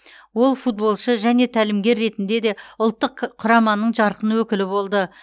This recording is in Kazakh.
ол футболшы және тәлімгер ретінде де ұлттық к құраманың жарқын өкілі болды